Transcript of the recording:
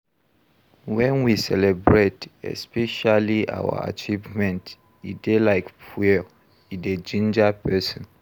When we celebrate, especially our achievement, e dey like fuel, e dey ginger person